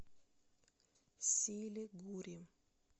силигури